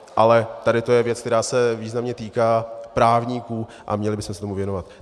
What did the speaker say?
Ale tady to je věc, která se významně týká právníků, a měli bychom se tomu věnovat.